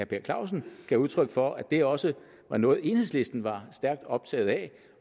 per clausen gav udtryk for at det også er noget enhedslisten er stærkt optaget af